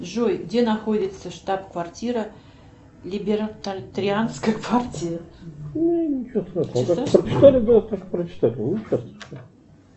джой где находится штаб квартира либертарианской партии